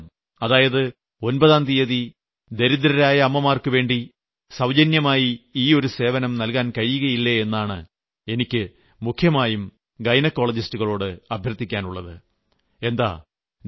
മാസത്തിൽ ഒരു ദിവസം അതായത് ഒമ്പതാം തീയതി ദരിദ്രരായ അമ്മമാർക്കുവേണ്ടി സൌജന്യമായി ഈ ഒരു സേവനം നൽകാൻ കഴിയില്ലേയെന്നാണ് എനിക്ക് മുഖ്യമായും ഗൈനക്കോളജിസ്റ്റുകളോട് അഭ്യർത്ഥിക്കാനുള്ളത്